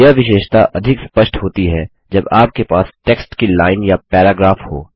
यह विशेषता अधिक स्पष्ट होती है जब आपके पास टेक्स्ट की लाइन या पैराग्राफ हो